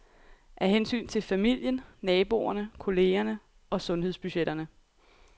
Af hensyn til familien, naboerne, kollegerne og sundhedsbudgetterne.